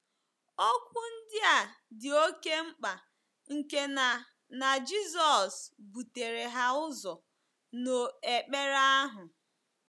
Okwu ndị a dị oké mkpa nke na na Jizọs butere ha ụzọ n’ekpere ahụ.